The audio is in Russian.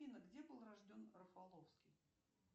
афина где был рожден рафаловский